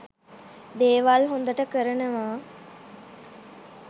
දේවල් හොදට කරනවා.